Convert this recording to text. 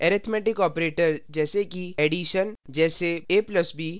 arithmetic operators जैसे कि + addition: जैसे a + b